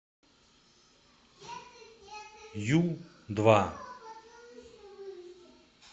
ю два